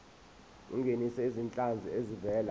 ungenise izinhlanzi ezivela